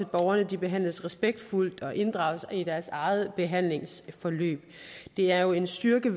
borgerne behandles respektfuldt og inddrages i deres eget behandlingsforløb det er jo en styrke